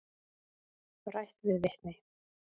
Rætt við vitni.